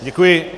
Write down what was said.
Děkuji.